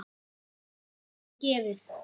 Slíkt er fáum gefið.